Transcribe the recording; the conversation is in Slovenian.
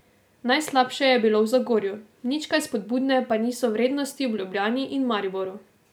Najslabše je bilo v Zagorju, nič kaj spodbudne pa niso vrednosti v Ljubljani in Mariboru.